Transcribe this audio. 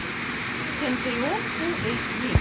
центурион фулл эйч ди